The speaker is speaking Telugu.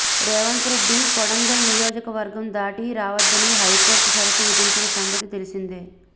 రేవంత్ రెడ్డి కోడంగల్ నియోజక వర్గం దాటి రావొద్దని హైకోర్ట్ షరతు విధించిన సంగతి తెలిసిందే